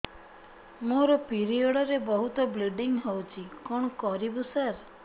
ମୋର ପିରିଅଡ଼ ରେ ବହୁତ ବ୍ଲିଡ଼ିଙ୍ଗ ହଉଚି କଣ କରିବୁ ସାର